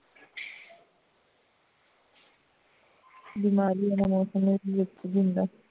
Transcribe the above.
ਬੀਮਾਰੀ ਵਾਲਾ ਮੌਸਮ ਇਕ ਹੁੰਦਾ